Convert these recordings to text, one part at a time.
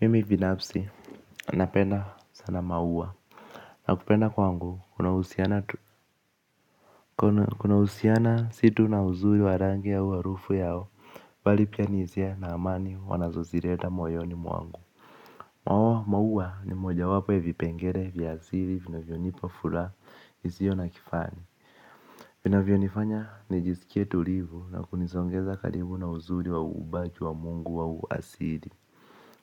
Mimi binafsi napenda sana maua na kupenda kwangu kunahusiana situ na uzuri wa rangi au harufu yao bali pia ni hisia na amani wanazosileta mwoyoni mwangu maua maua ni moja wapo ya vipengele vya asili vinavyonipa fuyaha isiyo na kifani vinavyonifanya nijiskie tulivu na kunisongeza karibu na uzuri wa umbaji wa mungu wa asili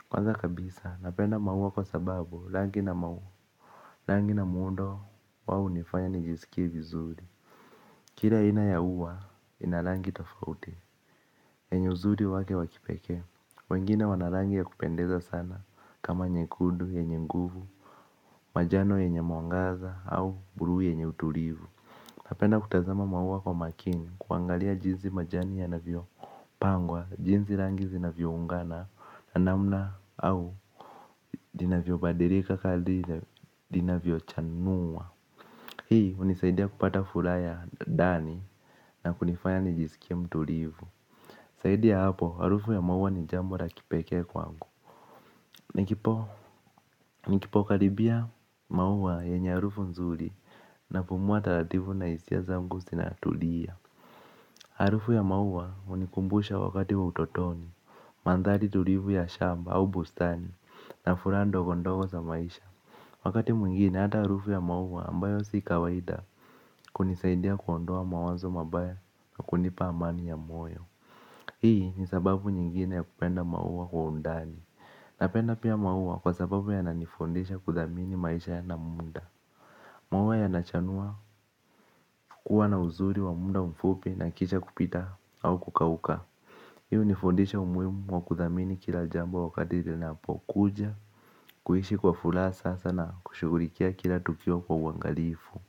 kwanza kabisa napenda maua kwa sababu rangi na maua rangi na muundo wao hunifanya nijisikie vizuri. Kila aina ya uwa ina rangi tofauti yenye uzuri wake wakipekee. Wengine wana rangi ya kupendeza sana. Kama nyekudu, yenye nguvu. Majano yenye mwangaza au buluu yenye utulivu. Napenda kutazama maua kwa makini. Kuangalia jinsi majani yanavuo pangwa. Jinsi rangi zinavyo ungana na namna au vinavyo badilika kali linavyo chanua. Hii hunisaidia kupata furaha ya ndani na kunifanya nijisikie mtulivu zaidi ya hapo harufu ya maua ni jambo la kipeke kwangu. Nikipo, nikipo karibia maua yenye harufu nzuri napumua taratibu na hisia zangu zinatulia. Harufu ya maua hunikumbusha wakati utotoni, mandhari tulivu ya shamba au bustani na furaha ndogondogo za maisha. Wakati mwingine hata harufu ya maua ambayo si kawaida hunisaidia kuondoa mawazo mabaya na kunipa amani ya moyo. Hii ni sababu nyingine ya kupenda maua kwa undani. Napenda pia maua kwa sababu yanani fundesha kuthamini maisha ya na muda maua yanachanua kuwa na uzuri wa muda mfupi na kisha kupita au kukauka. Hi hunifundisha umuhimu wa kuthamini kila jambo wakati linapokuja. Kuishi kwa furaha sasa na kushughulukia kila tukio kwa uangalifu.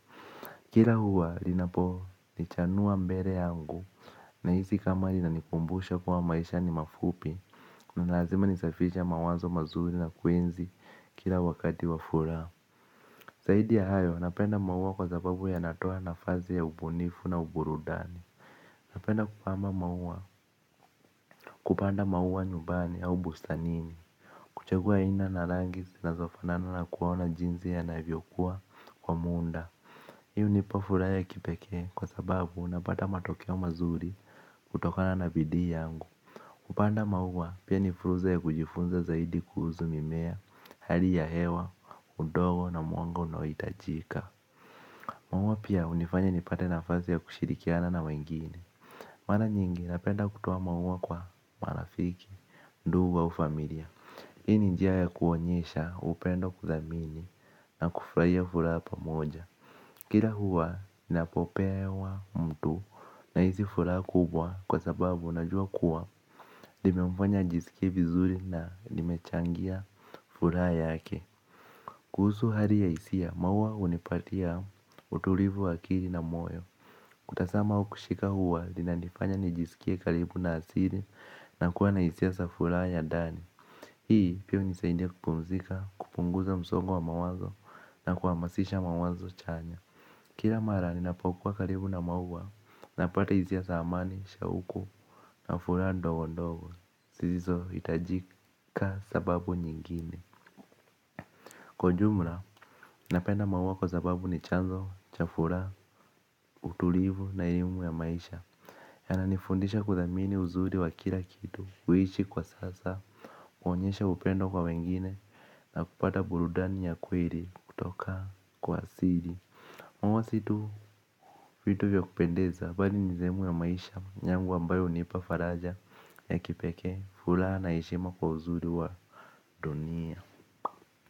Kila uwa linapo nichanua mbele yangu na hisi kama linanikumbusha kuwa maisha ni mafupi na lazima nisafishe mawazo mazuri na kuenzi kila wakati wa furaha. Zaidi ya hayo napenda maua kwa zababu ya natoa nafasi ya ubunifu na uburudani. Napenda kupanda maua kupanda maua nyumbani ya ubustanini. Kuchagua aina na rangi zinazo fanana na kuona jinsi yanavyokua kwa muda. Hii hunipa furaha ya kipeke kwa sababu unapata matokeo mazuri kutokana na bidii yangu kupanda mauwa pia ni fursa ya kujifunza zaidi kuhusu mimea, hali ya hewa, udongo na mwanga unaohitajika. Maua pia hunifanya nipate na ya kushirikiana na wengine mara nyingi napenda kutoa maua kwa marafiki ndugu au familia hii ni njia ya kuonyesha uoendo kudhamini na kufjamaa nimemfanya ajisikie vizuri na nimechangia furaha yake. Kuhusu hali ya hisia maua hunipatia utulivu wa akili na moyo. Kutazama au kushika uwa linanifanya nijisikie karibu na asili na kuwa na hisia za furaha ya ndani. Hii pia hunisaindia kupumzika kupunguza msongo wa mawazo na kuhamasisha mawazo chanya. Kila mara ninapokua karibu na maua napata hisia za amani, shauku na furaha ndogo ndogo zisizo hitajika sababu nyingine. Kwa jumla, napenda maua kwa sababu ni chanzo, cha furaha, utulivu na elimu ya maisha yananifundisha kudhamini uzuri wa kila kitu. Kuishi kwa sasa kuonyesha upendo kwa wengine na kupata burudani ya kweli kutoka kwa asili msitu vitu vya kupendeza mbali ni sehemu ya maisha yangu ambayo hunipa faraja ya kipeke furaha na heshima kwa uzuri wa dunia.